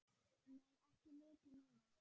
Nei, ekki mikið núna.